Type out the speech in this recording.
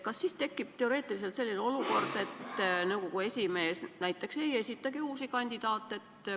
Kas siis tekib teoreetiliselt selline olukord, et nõukogu esimees ei esitagi uusi kandidaate?